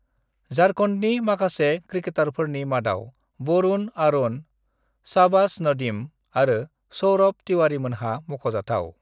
"झारखन्डनि माखासे क्रिकेटारफोरनि मादाव वरुण आरोन, शाहबाज नदीम आरो सौरभ तिवारीमोनहा मख'जाथाव।"